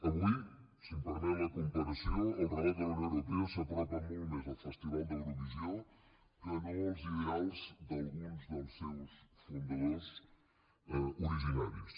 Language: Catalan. avui si em permet la comparació el relat de la unió europea s’apropa molt més al festival d’eurovisió que no als ideals d’alguns dels seus fundadors originaris